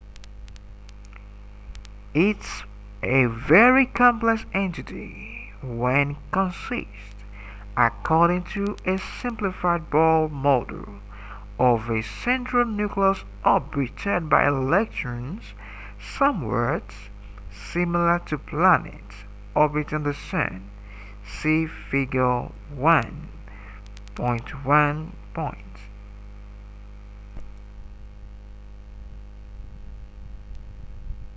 its a very complex entity which consists according to a simplified bohr model of a central nucleus orbited by electrons somewhat similar to planets orbiting the sun see figure 1.1